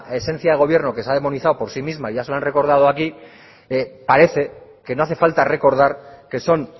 esencia de gobierno que se ha demonizado por sí misma ya se lo han recordado aquí parece que no hace falta recordar que son